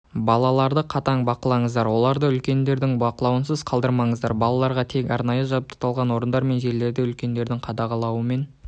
балаларды қатаң бақылаңыздар оларды үлкендердің бақылауынсыз қалдырмаңыздар балаларға тек арнайы жабдықталған орындар мен жерлерде үлкендердің қадағалауымен